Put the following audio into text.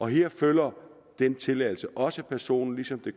her følger den tilladelse også personen ligesom det